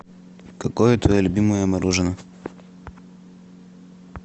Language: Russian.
какое твое любимое мороженое